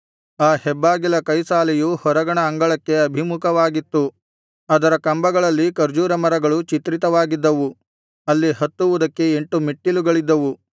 ಆ ಹೆಬ್ಬಾಗಿಲ ಕೈಸಾಲೆಯು ಹೊರಗಣ ಅಂಗಳಕ್ಕೆ ಅಭಿಮುಖವಾಗಿತ್ತು ಅದರ ಕಂಬಗಳಲ್ಲಿ ಖರ್ಜೂರ ಮರಗಳು ಚಿತ್ರಿತವಾಗಿದ್ದವು ಅಲ್ಲಿ ಹತ್ತುವುದಕ್ಕೆ ಎಂಟು ಮೆಟ್ಟಿಲುಗಳಿದ್ದವು